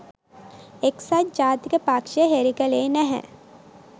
එක්සත් ජාතික පක්ෂය හෙළි කළේ නැහැ